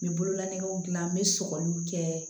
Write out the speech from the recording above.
N bɛ bololagew gilan n bɛ sɔgɔliw kɛ